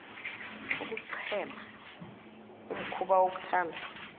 ukuchema umhkuba wokuthanda